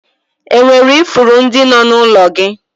E nwere ifuru ndị nọ n'ụlọ gị?